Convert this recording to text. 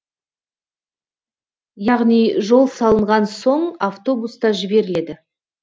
яғни жол салынған соң автобус та жіберіледі